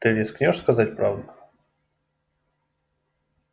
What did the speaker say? ты рискнёшь сказать правду